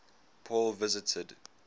paul visited